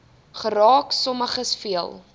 geraak sommiges veel